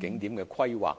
景點規劃